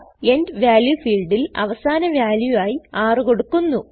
end value ഫീൽഡിൽ അവസാന value ആയി നമ്മൾ എൻറർ ചെയ്യുന്നതിനായി 6 കൊടുക്കുന്നു